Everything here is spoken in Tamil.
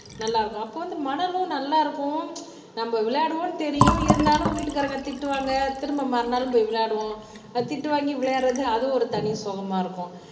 நல்லா இருக்கும் அப்ப வந்து மணலும் நல்லா இருக்கும் நம்ம விளையாடுவோம்ன்னு தெரியும் இருந்தாலும் வீட்டுக்காரங்க திட்டுவாங்க திரும்ப மறுநாளும் போய் விளையாடுவோம் திட்டு வாங்கி விளையாடுறது அதுவும் ஒரு தனி சுகமா இருக்கும்.